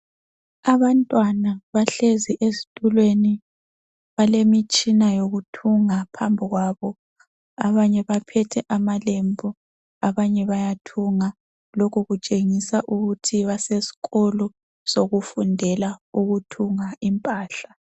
Abantwana bahlezi ezitulweni , balemitshina yokuthunga phambi kwabo .Abanye baphethe amalembu abanye bayathunga ,lokhu kutshengisa ukuthi basesikolo sokufundela ukuthunga impahla.